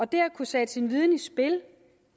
det at kunne sætte sin viden i spil